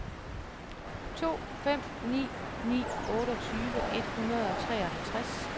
to fem ni ni otteogtyve et hundrede og treoghalvtreds